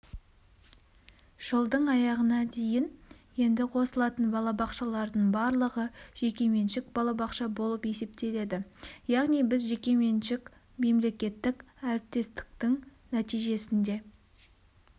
жылдың аяғына дейін енді қосылатын балабақшалардың барлығы жекеменшік балабақша болып есептеледі яғни біз жекеменшік-мемлекеттік әріптестіктің нәтижесінде